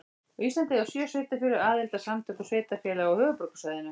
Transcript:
Á Íslandi eiga sjö sveitarfélög aðild að Samtökum sveitarfélaga á höfuðborgarsvæðinu.